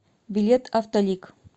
билет автолик